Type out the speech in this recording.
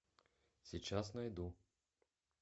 сейчас найду